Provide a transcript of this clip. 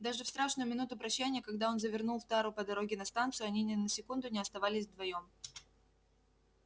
даже в страшную минуту прощанья когда он завернул в тару по дороге на станцию они ни на секунду не оставались вдвоём